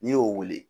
N'i y'o wele